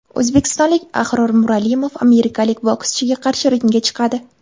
O‘zbekistonlik Ahror Muralimov amerikalik bokschiga qarshi ringga chiqadi.